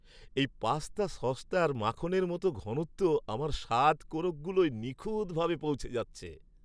এই পাস্তা সসটার মাখনের মতো ঘনত্ব আমার স্বাদ কোরকগুলোয় নিখুঁতভাবে পৌঁছে যাচ্ছে!